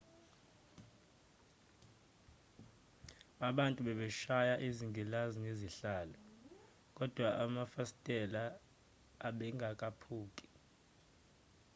abantu babeshaya izingilazi ngezihlalo kodwa amafasitela abengaphuki